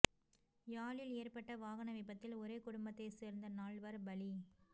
யாழில் ஏற்பட்ட வாகன விபத்தில் ஒரே குடும்பத்தை சேர்ந்த நால்வர் பலி